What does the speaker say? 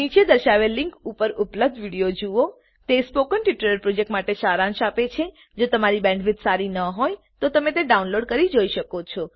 નીચે દર્શાવેલ લીંક પર ઉપલબ્ધ વિડીયો જુઓ httpspoken tutorialorg What is a Spoken Tutorial તે સ્પોકન ટ્યુટોરીયલ પ્રોજેક્ટનો સારાંશ આપે છે જો તમારી બેન્ડવિડ્થ સારી ન હોય તો તમે ડાઉનલોડ કરી તે જોઈ શકો છો